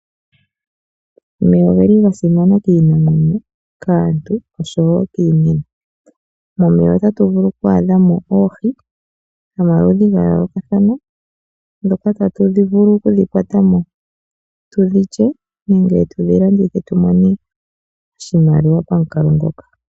Omeya oga simana kaantu, kiinamwenyo nokiimuna. Momeya ohatu vulu okwaadha mo oohi dhomaludhi ga yookathana, dhoka tatu vulu tu dhi kwate mo, tudhi lye nenge tudhi landithe po tu vule okwiimonena mo oshimaliwa pamukalo ngoka.